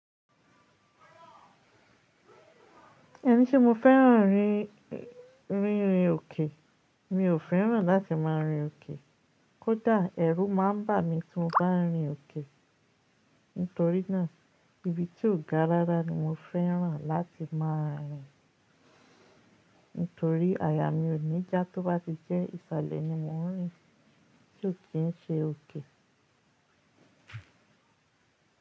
Ẹni tí mo fẹ́ràn rí ń rìn òkè, mi ò fẹ́ràn láti máa rìn òkè. Kódà ẹrú má ń bà mí tí mo bá ń rìn òkè. Nítorínà ibi tí ó ga rára ni mo fẹ́ràn láti máa rìn. Nítorí àyà mi ò ní já tó bá ti jẹ́ ìsàlẹ̀ ni mo ń rìn tí ò kí ń ṣe òkè.